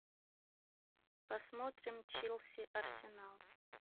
посмотрим челси арсенал